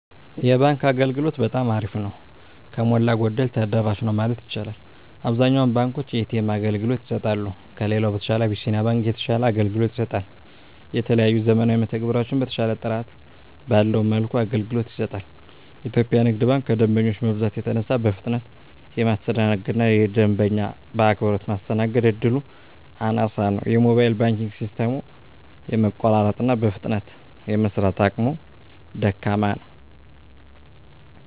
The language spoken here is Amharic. የባንክ አገልግሎት በጠማ አሪፍ ነው። ከሞላ ጎደል ተደራሽ ነው ማለት ይቻላል። አብዛኛውን ባንኮች የኤ.ተ.ኤም አገልግሎት ይሰጣሉ። ከሌላው በተሻለ አብሲኒያ ባንክ የተሻለ አገልግሎት ይሰጣል። የተለያዩ ዘመናዊ መተግበሪያዎችን በተሻለና ጥራት ባለው መልኩ አገልግሎት ይሰጣል። ኢትዮጵያ ንግድ ባንክ ከደንበኛ መብዛት የተነሳ በፍጥነት የማስተናገድ እና ደንበኛ በአክብሮት ማስተናገድ እድሉ አናሳ ነው። የሞባይል ባንኪንግ ሲስተሙም የመቆራረጥ እና በፍጥነት የመስራት አቅሙ ደካማ ነው።